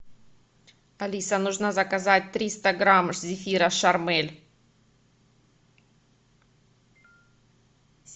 алиса нужно заказать триста грамм зефира шармель